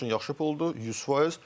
Azərbaycan üçün yaxşı puldur, 100%.